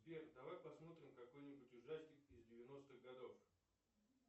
сбер давай посмотрим какой нибудь ужастик из девяностых годов